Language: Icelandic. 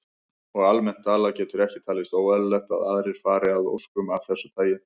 Og almennt talað getur ekki talist óeðlilegt að aðrir fari að óskum af þessu tagi.